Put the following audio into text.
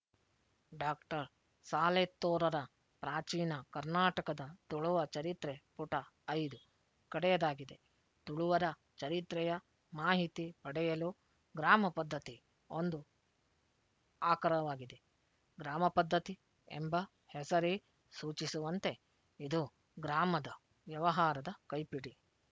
doctor ಸಾಲೆತ್ತೂರರ ಪ್ರಾಚೀನ ಕರ್ನಾಟಕದ ತುಳುವ ಚರಿತ್ರೆಪುಟ ಐದು ಕಡೆಯದಾಗಿದೆ ತುಳುವರ ಚರಿತ್ರೆಯ ಮಾಹಿತಿ ಪಡೆಯಲು ಗ್ರಾಮಪದ್ಧತಿ ಒಂದು ಆಕರವಾಗಿದೆ ಗ್ರಾಮಪದ್ಧತಿ ಎಂಬ ಹೆಸರೇ ಸೂಚಿಸುವಂತೆ ಇದು ಗ್ರಾಮದ ವ್ಯವಹಾರದ ಕೈಪಿಡಿ